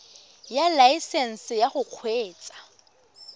ya laesesnse ya go kgweetsa